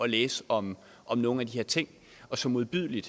læse om om nogle af de her ting og så modbydelige